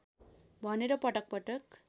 भनेर पटक पटक